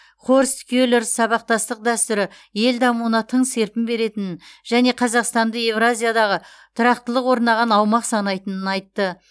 хорст келер сабақтастық дәстүрі ел дамуына тың серпін беретінін және қазақстанды еуразиядағы тұрақтылық орнаған аумақ санайтынын айтты